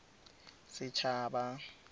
setshaba